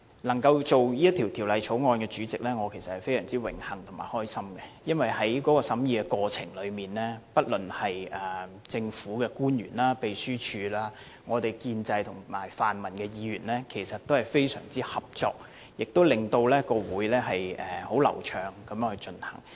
能夠擔任法案委員會的主席，我其實感到非常榮幸和開心，因為在審議過程中，不論是政府官員、秘書處、建制派或泛民派的議員，其實均非常合作，令會議流暢地進行。